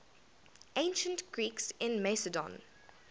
ancient greeks in macedon